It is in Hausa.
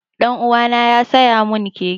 Ɗan uwana ya siya mun keke